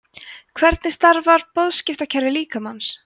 hvernig starfar boðskiptakerfi líkamans